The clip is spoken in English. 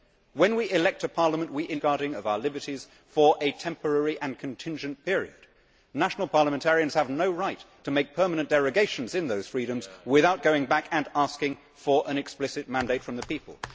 When we elect a parliament we entrust it with the safeguarding of our liberties for a temporary and contingent period. National parliamentarians have no right to make permanent derogations to those freedoms without going back and asking for an explicit mandate from the people.